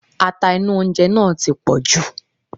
Ata inú oúnjẹ náà ti pọ̀jù.